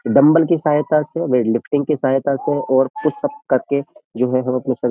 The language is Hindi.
डम्बल की सहायता से वेट लिफ्टिंग की सहायता से और पुश अप करके जो है हम अपना शरी --